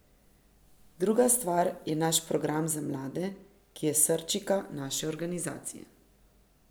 Druga stvar je naš program za mlade, ki je srčika naše organizacije.